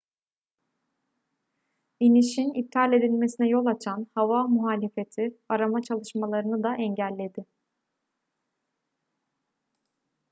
i̇nişin iptal edilmesine yol açan hava muhalefeti arama çalışmalarını da engelledi